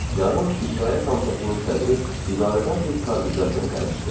Yarın İcra Komitəsinin sədri idarədən bir kargüzar göndərmişdi.